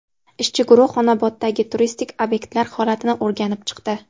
Ishchi guruh Xonoboddagi turistik obyektlar holatini o‘rganib chiqdi.